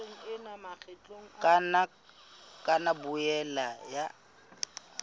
ka nna ya boela ya